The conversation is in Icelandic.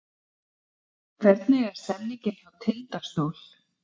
Hvernig er stemningin hjá Tindastól?